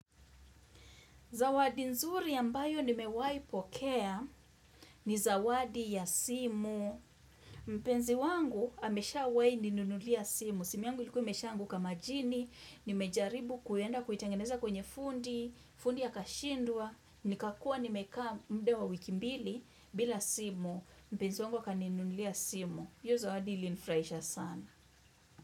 Zawadi nzuri ambayo nimewaipokea ni zawadi ya simu. Mpenzi wangu ameshawai ninunulia simu. Simi yangu liku imesha anguka majini. Nimejaribu kuenda kuitengeneza kwenye fundi. Fundi ya akashindwa Nikakua nimekaa muda wa wiki mbili bila simu. Mpenzi wangu akaninunulia simu. Hio zawadi ilinfurahisha sana.